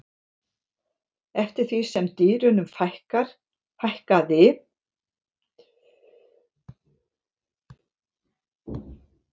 eftir því sem dýrunum fækkaði dró úr veiðinni en allt kom fyrir ekki